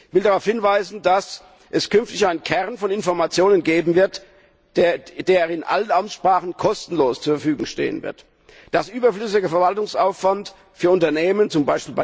Ich will darauf hinweisen, dass es künftig einen Kern von Informationen geben wird, der in allen Amtssprachen kostenlos zur Verfügung stehen wird, dass überflüssiger Verwaltungsaufwand für Unternehmen, z.